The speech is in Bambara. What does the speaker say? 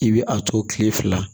I bɛ a to kile fila